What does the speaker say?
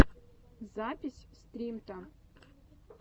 запись стримто